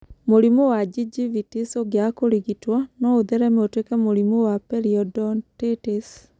Mũrimũ wa gingivitis ũngĩaga kũrigitwo, no ũthereme ũtwĩke mũrimũ wa periodontitis.